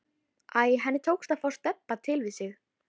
Æ, henni tókst að fá Stebba til við sig.